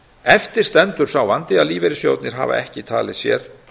eftir stendur sá vandi að lífeyrissjóðirnir hafa ekki talið sér